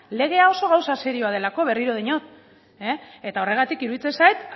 legea oso gauza serio delako berriro diot eta horregatik iruditzen zait